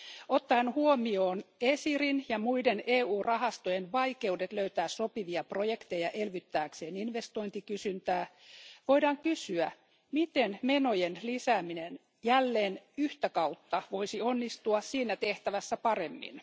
Ottaen huomioon ESIRin ja muiden EU rahastojen vaikeudet löytää sopivia projekteja elvyttääkseen investointikysyntää voidaan kysyä, miten menojen lisääminen jälleen yhtä kautta voisi onnistua siinä tehtävässä paremmin?